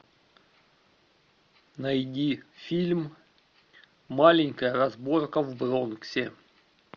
найди фильм маленькая разборка в бронксе